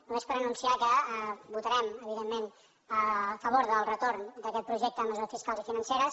només per anunciar que votarem evidentment a favor del retorn d’aquest projecte de mesures fiscals i financeres